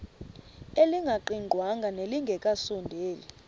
elingaqingqwanga nelinge kasondeli